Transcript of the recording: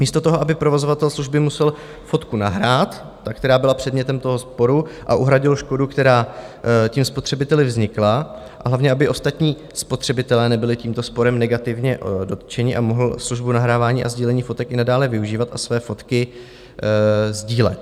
Místo toho, aby provozovatel služby musel fotku nahrát - tu, která byla předmětem toho sporu - a uhradil škodu, která tím spotřebiteli vznikla, a hlavně aby ostatní spotřebitelé nebyli tímto sporem negativně dotčeni, a mohli službu nahrávání a sdílení fotek i nadále využívat a své fotky sdílet.